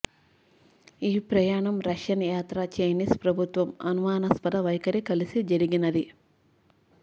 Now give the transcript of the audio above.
ఈ ప్రయాణం రష్యన్ యాత్ర చైనీస్ ప్రభుత్వం అనుమానాస్పద వైఖరి కలిసి జరిగినది